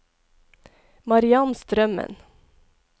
Mariann Strømmen